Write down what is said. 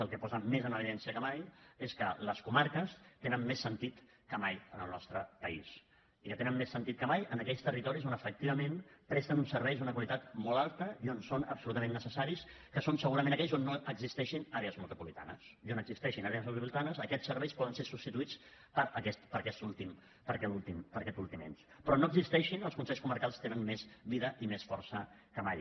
el que posa més en evidència que mai és que les comarques tenen més sentit que mai en el nostre país i que tenen més sentit que mai en aquells territoris on efectivament presten uns serveis d’una qualitat molt alta i on són absolutament necessaris que són segurament aquells on no hi existeixin àrees metropolitanes i on hi existeixin àrees metropolitanes aquests serveis poden ser substituïts per aquest últim ens però on no hi existeixin els consells comarcals tenen més vida i més força que mai